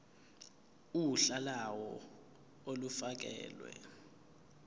uhla lawo olufakelwe